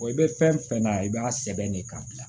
i bɛ fɛn fɛn na i b'a sɛbɛn de k'a bila